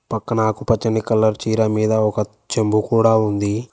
పక్కన ఆకుపచ్చని కలర్ చీర మీద ఒక చెంబు కూడా ఉంది.